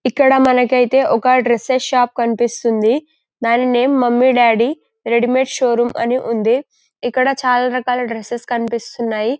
ఇక్కడ మనకైతే ఒక డ్రెస్సెస్ షాప్ కనిపిపిస్తుంది దాని name mummy daddy readymade show room అని ఉంది ఇక్కడ చాలా రకాల డ్రెస్సెస్ కనిపిస్తున్నాయి.